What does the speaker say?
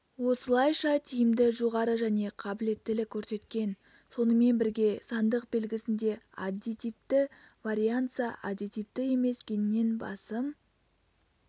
осылайша тиімді жоғары және қабілеттілік көрсеткен сонымен бірге сандық белгісінде аддитивті варианса аддитивті емес геннен басым